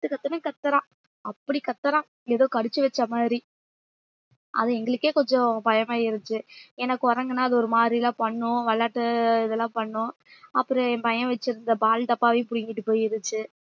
கத்து கத்துன்னு கத்தறான் அப்படி கத்தறான் ஏதோ கடிச்சு வச்ச மாதிரி அது எங்களுக்கே கொஞ்சம் பயமா இருந்துச்சு ஏன்னா குரங்குன்னா அது ஒரு மாதிரி எல்லாம் பண்ணும் விளையாட்டு இதெல்லாம் பண்ணும் அப்புறம் என் பையன் வச்சிருந்த பால் டப்பாவையும் புடுங்கிட்டு போயிருச்சு